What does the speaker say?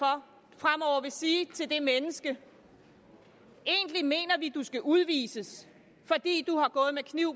og vil sige til det menneske egentlig mener vi at du skal udvises fordi du har gået med kniv